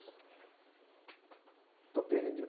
Estou perdido.